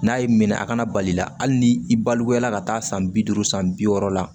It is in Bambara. N'a y'i minɛ a kana bali la hali ni i balikuya ka taa san bi duuru san bi wɔɔrɔ la